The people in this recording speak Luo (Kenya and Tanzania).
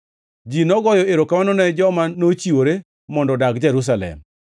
Ji nogoyo erokamano ne joma nochiwore mondo odag Jerusalem.